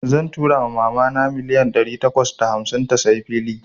Zan tura wa mama na milliyan dari takwas da hamsin ta tsayi filin.